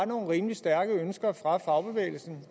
nogle rimelig stærke ønsker fra fagbevægelsen